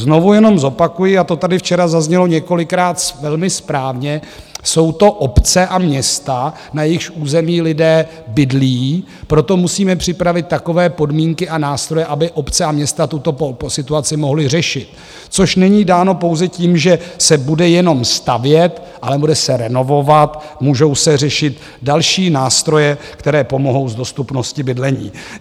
Znovu jenom zopakuji, a to tady včera zaznělo několikrát velmi správně, jsou to obce a města, na jejichž území lidé bydlí, proto musíme připravit takové podmínky a nástroje, aby obce a města tuto situaci mohly řešit, což není dáno pouze tím, že se bude jenom stavět, ale bude se renovovat, můžou se řešit další nástroje, které pomohou s dostupností bydlení.